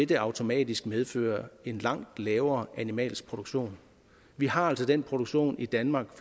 det automatisk medføre en langt lavere animalsk produktion vi har altså den produktion i danmark